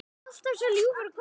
Alltaf svo ljúfur og góður.